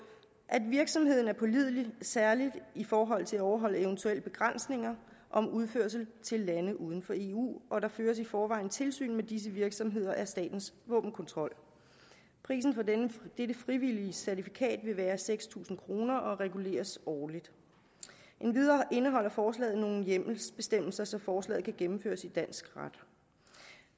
at virksomheden er pålidelig særlig i forhold til at overholde eventuelle begrænsninger om udførsel til lande uden for eu og der føres i forvejen tilsyn med disse virksomheder af statens våbenkontrol prisen for dette frivillige certifikat vil være seks tusind kroner og reguleres årligt endvidere indeholder forslaget nogle hjemmelsbestemmelser så forslaget kan gennemføres i dansk ret